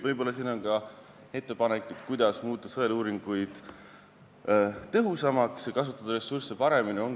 Siinkohal on ka ettepanek, kuidas muuta sõeluuringuid tõhusamaks ja kasutada ressursse paremini.